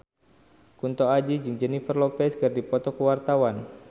Kunto Aji jeung Jennifer Lopez keur dipoto ku wartawan